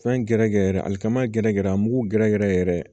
Fɛn gɛrɛgɛrɛ ali kama gɛrɛ gɛrɛ a mugu gɛrɛgɛrɛ yɛrɛ